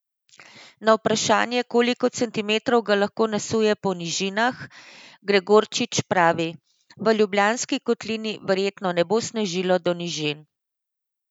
Na vprašanje, koliko centimetrov ga lahko nasuje po nižinah, Gregorčič pravi: "V Ljubljanski kotlini verjetno ne bo snežilo do nižin.